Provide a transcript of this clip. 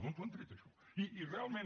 d’on ho han tret això i realment